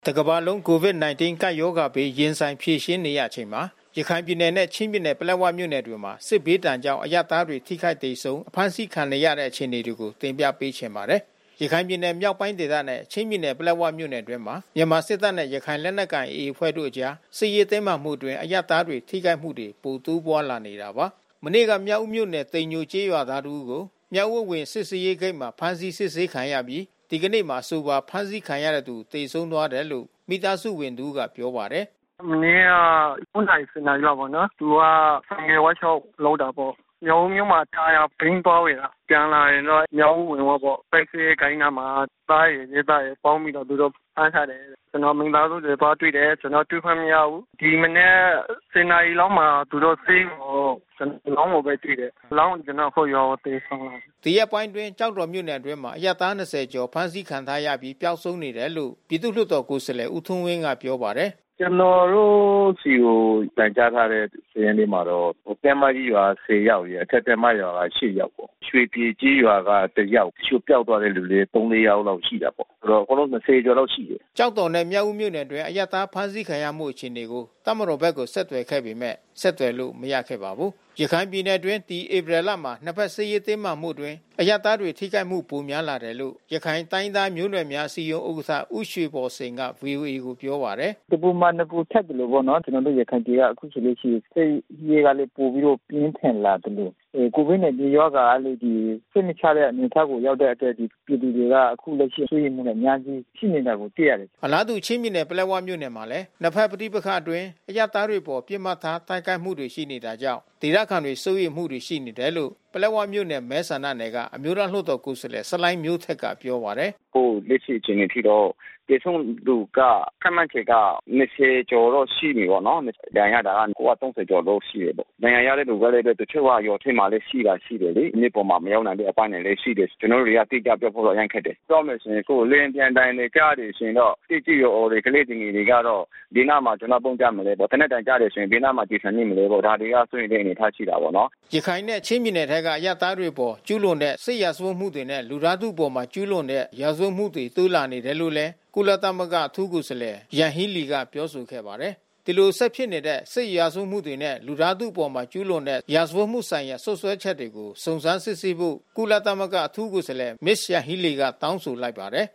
တကမ္ဘာလုံး COVID-19 ကပ်ရောဂါဘေး ရင်ဆိုင်ဖြေရှင်းနေရချိန်မှာ ရခိုင်ပြည်နယ်နဲ့ချင်းပြည်နယ် ပလက်ဝမြို့နယ်တွေမှာ စစ်ဘေးဒဏ်ကြောင့် အရပ်သားတွေ ထိခိုက်သေဆုံး အဖမ်းဆီးခံနေရတဲ့ အခြေအနေကို ဗွီအိုအေမြန်မာပိုင်းသတင်းထောက် ကိုနိုင်ကွန်းအိန်က တင်ပြပေးပါမယ်။ ရခိုင်ပြည်နယ်မြောက်ပိုင်းဒေသနဲ့ ချင်းပြည်နယ် ပလက်ဝမြို့နယ်အတွင်းမှာ မြန်မာစစ်တပ်နဲ့ ရခိုင်လက်နက်ကိုင် AA အဖွဲ့တို့အကြား စစ်ရေးတင်းမာမှုအတွင်း အရပ်သားတွေထိခိုက်မှုတွေ ပိုတိုးပွားလာနေတာပါ။ မနေ့က မြောက်ဦးမြို့နယ် တိမ်ညိုကျေးရွာသား တဦးကို မြောက်ဦးအဝင် စစ်ဆေးရေးဂိတ်မှာ ဖမ်းဆီးစစ်ဆေးခံရပြီး ဒီကနေ့မှာ အဆိုပါ ဖမ်းဆီးခံရတဲ့သူ သေဆုံးသွားတယ်လို့ မိသားစုဝင်တဦးကပြောပါတယ်။ “မနေ့က ၉ နာရီ ၁၀ နာရီလောက်ပေါ့နော်။ သူကဆိုင်ကယ် ဝေါ့ရှော့လုပ်တာပေါ့။ မြောက်ဦးမြို့မှာ တာယာဘီး သွားဝယ်တာ။ ပြန်လာရင်တော့ မြောက်ဦး အဝင်ဝပေါ့။ စစ်ဆေးရေးဂိတ်နားမှာ စစ်သားရယ်၊ ရဲသားရယ် ပေါင်းပြီးတော့ သူတို့ ဖမ်းထားတယ်။ ကျနော်တို့ မိသားစုတွေသွားတွေ့တယ်။ ကျနော်တို့ တွေ့ခွင့်မရဘုူး။ ဒီမနက် ၁၀ နာရီလောက်မှာ သူတို့ဆေးရုံကို အလောင်းကိုပဲ တွေ့တယ်။ အလောင်းကို ကျနော်တို့ အခုရွာကို သယ်ဆောင်လာတယ်။” ဒီရက်ပိုင်းအတွင်း ကျောက်တော်မြို့နယ်အတွင်း အရပ်သား ၂၀ ကျော် အဖမ်းဆီးခံထားရပြီး ပျောက်ဆုံးနေတယ်လို့ ပြည်သူ့လွှတ်တော်ကိုယ်စားလှယ် ဦးထွန်းဝင်းကပြောပါတယ်။ “ကျနော်တို့ဆီကို တိုင်ကြားထားတဲ့ စာရင်းထဲမှာတော့ တင်းမကြီးရွာက ၁၀ ယောက်ရယ် အထက်တင်းမရွာက ၈ ယောက်ပေါ့။ ရွှေပြည်ကျေးရွာက တယောက်။ တချို့ပျောက်သွားတဲ့သူလည်း သုံး၊ လေး ယောက်လောက်ရှိတာပေါ့။ အကုန်လုံး ၂၀ ကျော်လောက်ရှိတယ်။” ကျောက်တော်နဲ့ မြောက်ဦးမြို့နယ်အတွင်း အရပ်သားဖမ်းဆီးခံရမှု အခြေအနေကို တပ်မတော်ဘက်ကို ဆက်သွယ်ခဲ့ပေမဲ့ ဆက်သွယ်လို့ မရခဲ့ပါဘူး။ ရခိုင်ပြည်နယ်အတွင်း ဒီဧပြီလမှာ နှစ်ဘက်စစ်ရေး တင်းမာမှုအတွင်း အရပ်သားတွေ ထိခိုက်မှု ပိုများလာတယ်လို့ ရခိုင်တိုင်းရင်းသားမျိုးနွယ်များ အစည်းအရုံးဥက္ကဋ္ဌ ဦးရွှေဘော်စိန်က ဗွီအိုအေကို ပြောပါတယ်။ "တပူမှာ နှစ်ပူထပ်သလိုပေါ့နော်။ ကျနော်တို့ ရခိုင်ပြည်ကအခုဆိုလို့ရှိရင် စစ်ရေးက ပိုပြီးတော့ ပြင်းထန်လာသလို COVID-19 ရောဂါကလည်း စိတ်မချနိုင်တဲ့ အနေအထားရောက်တဲ့အတွက် ပြည်သူတွေက အခုလက်ရှိ စိုးရိမ်မှုတွေအများကြီး ရှိနေတာကို တွေ့ရတယ်။” အလားတူ ချင်းပြည်နယ် ပလက်ဝမြို့နယ်မှာလည်း နှစ်ဘက် ပဋိပက္ခပတွင်း အရပ်သားတွေအပေါ် ပစ်မှတ်ထား တိုက်ခိုက်မှုတွေရှိနေတာကြောင့် ဒေသခံတွေစိုးရိမ်မှုတွေ ရှိနေတယ်လို့ ပလက်ဝမြို့နယ် မဲဆန္ဒနယ်က အမျိုးသားလွှတ်တော် ကိုယ်စားလှယ် ဆလိုင်းမျိုးထိုက်ကပြောပါတယ်။ “အခုလက်ရှိ အခြေအနေအထိတော့ သေဆုံးသူက ခန့်မှန်းခြေက ၂၀ ကျော်တော့ ရှိပြီပေါ့နော်။ ဒဏ်ရာရတဲ့သူက အခု ၃၀ ကျော်လောက်ရှိတယ်ပေါ့နော်။ ဒဏ်ရာရတဲ့သူတွေကလည်း တချို့က ရွာထဲမှာလည်း ရှိတာရှိတယ်လေ။ မြို့ပေါ်မှာမရောက် နိုင်တဲ့အပိုင်းတွေလဲရှိတယ်။ ကျနော်တို့တွေက အတိကျပြောဖို့တော့ အရမ်းခက်တယ်။ ပြောမယ်ဆိုရင်တော့ လေယာဉ်ပျံသံတွေ ကြားတယ်ဆိုရင်တော့ သက်ကြီးရွယ်အိုတွေ၊ ကလေးသူငယ်တွေကတော့ ဘယ်နားမှာ ပုန်းကြမလဲပေါ့။ သေနတ်သံကြားရင် ဘယ်နားမှာ ကျည်ဆံမိမလဲပေါ့။ ဒါတွေက စိုးရိမ်စရာအနေအထားရှိတာပေါ့နော်။” ရခိုင်နဲ့ ချင်းပြည်နယ်ထဲက အရပ်သားတွေအပေါ် ကျူးလွန်တဲ့ စစ်ရာဇဝတ်မှုတွေနဲ့ လူသားထုအပေါ် ကျူးလွန်တဲ့ ရာဇဝတ်မှုတွေ တိုးလာနေတယ်လို့လည်း ကုလအထူးကိုယ်စားလှယ် ယန်ဟီးလီက ပြောဆိုခဲ့ပါတယ်။ ဒီလို ဆက်ဖြစ်နေတဲ့ စစ်ရာဇဝတ်မှုတွေနဲ့ လူသားထုအပေါ် ကျူးလွန်တဲ့ ရာဇဝတ်မှုဆိုင်ရာ စွပ်စွဲချက်တွေကို စုံစမ်းစစ်ဆေးဖို့ ကုလသမဂ္ဂ အထူးကိုယ်စားလှယ် ယန်ဟီးလီက တောင်းဆိုလိုက်ပါတယ်